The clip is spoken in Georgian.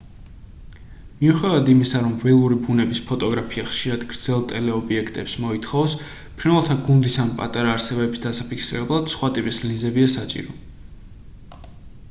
მიუხედავად იმისა რომ ველური ბუნების ფოტოგრაფია ხშირად გრძელ ტელეობიექტებს მოითხოვს ფრინველთა გუნდის ან პატარა არსებების დასაფიქსირებლად სხვა ტიპის ლინზებია საჭირო